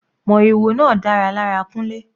Moriwo náà dára lára Kunle.